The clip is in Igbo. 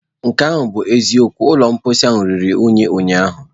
Nke ahụ bụ eziokwu, ụlọ mposi ruru unyi ụnyaahụ.